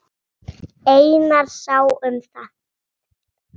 Einar sá um það.